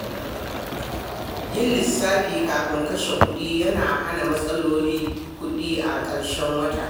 Yin lissafi kafin kashe kuɗi yana hana matsalolin kuɗi a ƙarshen wata.